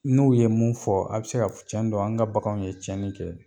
N'u ye mun fɔ a bɛ se ka cɛn do an ka baganw ye cɛnni kɛ.